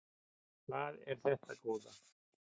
Hvað er þetta góða!